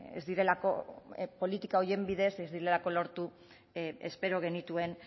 ez direlako politika horien bidez ez direlako lortu espero genituen